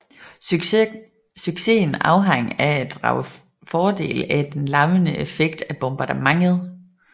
Succesen afhang af at drage fordel af den lammende effekt af bombardementet